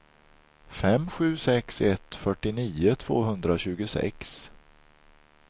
fem sju sex ett fyrtionio tvåhundratjugosex